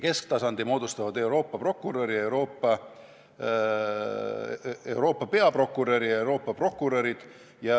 Kesktasandi moodustavad Euroopa peaprokurör ja Euroopa prokurörid.